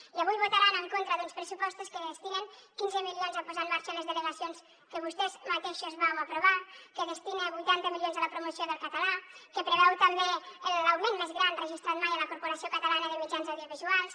i avui votaran en contra d’uns pressupostos que destinen quinze milions a posar en marxa les delegacions que vostès mateixos van aprovar que destinen vuitanta milions a la promoció del català que preveuen també l’augment més gran registrat mai a la corporació catalana de mitjans audiovisuals